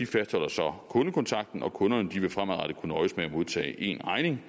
fastholder så kundekontakten og kunderne vil fremadrettet kunne nøjes med at modtage en regning